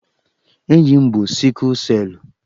Enyi m bú sikụl selụ